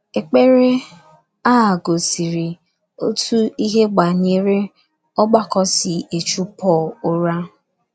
Ekpere a gosiri otú ihe banyere ọgbakọ si echu Pọl ụra.